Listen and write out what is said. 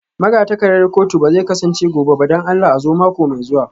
Magatakardar kotu ba zai kasance gobe ba don Allah a zo mako mai zuwa